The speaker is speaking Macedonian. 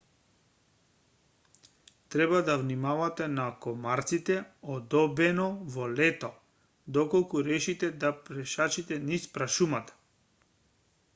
треба да внимавате на комарците одобено во лето доколку решите да пешачите низ прашумата